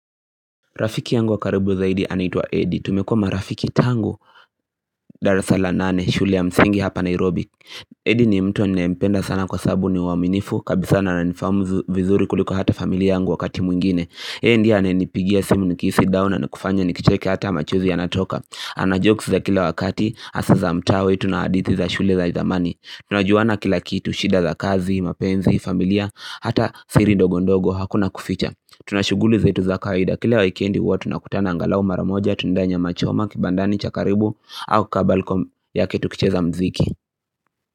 Rafiki yangu wa karibu zaidi anaitwa Edi. Tumekuwa marafiki tangu. Darasa la nane, shule ya msingi hapa Nairobi. Edi ni mtu ninayempenda sana kwasababu ni mwaminifu kabisa na ananifahamu vizuri kuliko hata familia yangu wakati mwingine. Yeye ndiye ananipigia simu nikihisi down na kufanya ni kicheke hata machozi yanatoka. Ana jokes za kila wakati, hasa za mtawe, tunahadithi za shule za zamani. Tunajuana kila kitu, shida za kazi, mapenzi, familia, hata siri ndogo ndogo, hakuna kuficha. Tuna shughuli zetu za kawaida kile waikendi huwa tunakutana angalau maramoja Tunaendea nyama choma kibandani cha karibu au kabalkom yake tukicheza mziki.